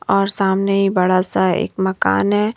और सामने ही बड़ा सा एक मकान है।